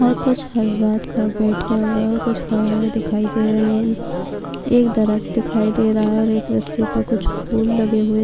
یہاں کچھ حضرات کھڑے ہوئے اور کچھ بیٹھے ہوئے دکھائی دے رہے ہیں ایک درخت دکھائی دے رہا ہے اور ایک رسی پر کچھ پھول لگے ہوئے